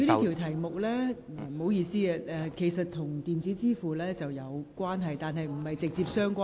局長，這項口項質詢與電子支付有關，但並非直接相關。